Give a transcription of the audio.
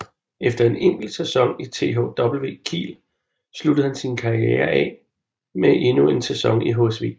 Efter en enkelt sæson i THW Kiel sluttede han sin karriere med endnu en sæson i HSV